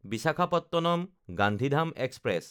বিশাখাপট্টনম–গান্ধীধাম express